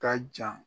Ka jan